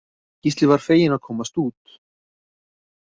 Gísli varð feginn að komast út.